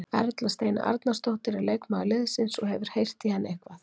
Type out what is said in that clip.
Erla Steina Arnardóttir er leikmaður liðsins, hefurðu heyrt í henni eitthvað?